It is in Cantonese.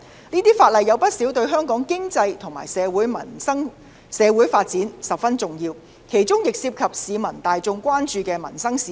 這些法案有不少皆對香港的經濟和社會發展十分重要，其中亦涉及市民大眾關注的民生事宜。